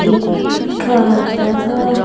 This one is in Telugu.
ఇక్కడ.